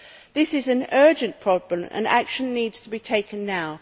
This is an urgent problem and action needs to be taken now.